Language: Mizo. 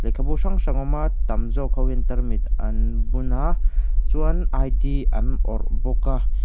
lehkhabu hrang hrang a awm a tam zawk hian ho hian tarmit ann bun a chuan i d an awrh bawk a.